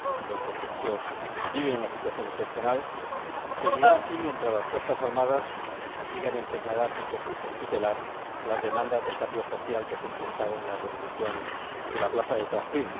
Los egipcios viven una situación excepcional y seguirá así mientras las Fuerzas Armadas sigan empeñadas en tutelar las demandas de cambio social que se expresaron en la revolución de la plaza Tahrir.